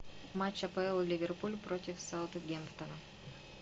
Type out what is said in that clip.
матч апл ливерпуль против саутгемптона